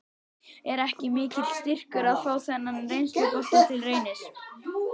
Er ekki mikill styrkur að fá þennan reynslubolta til Reynis?